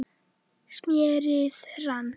smérið rann